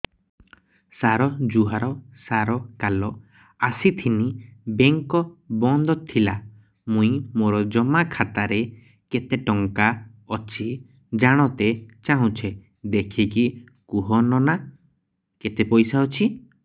ସାର ଜୁହାର ସାର କାଲ ଆସିଥିନି ବେଙ୍କ ବନ୍ଦ ଥିଲା ମୁଇଁ ମୋର ଜମା ଖାତାରେ କେତେ ଟଙ୍କା ଅଛି ଜାଣତେ ଚାହୁଁଛେ ଦେଖିକି କହୁନ ନା କେତ ପଇସା ଅଛି